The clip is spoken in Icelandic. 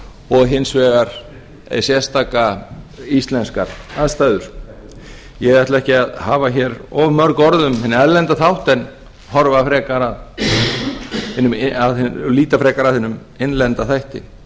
og hins vegar sérstakar íslenskar aðstæður ég ætla ekki að hafa hér of mörg orð um hinn erlenda þátt en líta frekar að hinum innlenda þætti